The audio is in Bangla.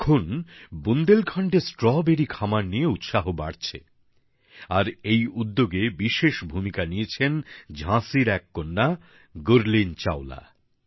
এখন বুন্দেলখণ্ডে স্ট্রবেরী খামার নিয়ে উৎসাহ বাড়ছে আর এই উদ্যোগে বিশেষ ভূমিকা নিয়েছেন ঝাঁসির এক কন্যা গুরলিন চাওলা